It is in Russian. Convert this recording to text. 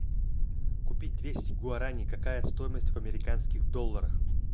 купить двести гуарани какая стоимость в американских долларах